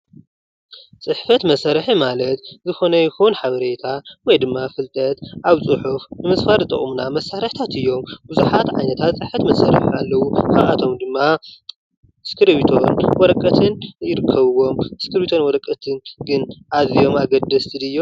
ፅሕፈት መሳርሒ ማለት ዝኮነ ይኩን ሓበሬታ ወይ ድማ ፍልጠት ኣብ ፅሑፍ ምስፋር ዝጠቅሙና መሳርሒታት እዮም ብዝሓት ዓይነታት ፅሕፈት መሳርሒታት ኣለዉ:: ካብኦም ድማ እስክርቢቶን ወረቀትን ይርከብዎም:: እስክርቢቶን ወረቀትን ግን ኣዝዮም ኣገደስቲ ድዮም?